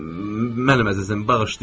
Mənim əzizim, bağışlayın.